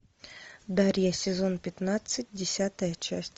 дарья сезон пятнадцать десятая часть